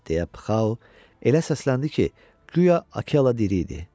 deyə Pxao elə səsləndi ki, guya Akela diri idi.